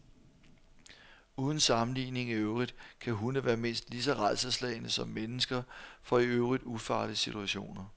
Uden sammenligning i øvrigt kan hunde være mindst lige så rædselsslagne som mennesker for i øvrigt ufarlige situationer.